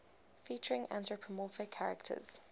featuring anthropomorphic characters